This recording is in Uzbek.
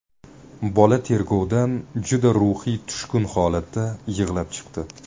Bola tergovdan juda ruhiy tushkun holatda yig‘lab chiqdi.